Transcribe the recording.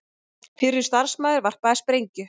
Fyrrum starfsmaður varpaði sprengju